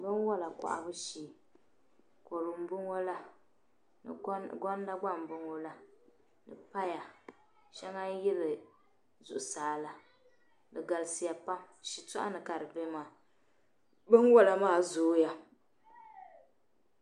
bɛnwala kɔhibu shee, kodu nbɔŋɔla gonda gba n bɔŋɔ la, ni paya, shaŋa nyili zuɣu saala, di galisiya pam shi tɔɣini kadi be maa